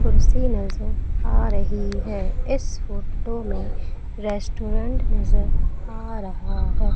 कुर्सी नजर आ रही है इस फोटो में रेस्टोरेंट नजर आ रहा है।